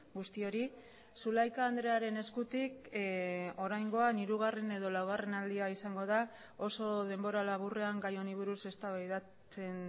guztiori zulaika andrearen eskutik oraingoan hirugarren edo laugarren aldia izango da oso denbora laburrean gai honi buruz eztabaidatzen